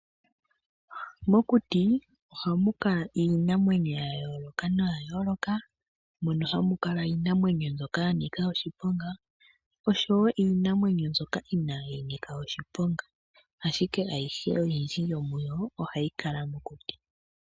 Mokuti oha mukala Iinamwenyo yayoloka no yayoloka mono hamukala Iinamwenyo mbyoka yanika oshiponga osho wo Iinamwenyo mbyoka inayinika oshiponga ashike ayihe oyindji yomuyo ohayi kala mokuti.